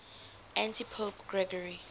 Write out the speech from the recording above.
antipope gregory